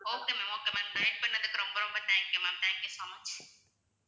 okay ma'am okay ma'am guide பண்ணதுக்கு ரொம்ப ரொம்ப thank you ma'am thank you so much